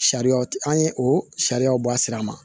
Sariya an ye o sariyaw bɔ a sira ma